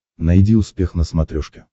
найди успех на смотрешке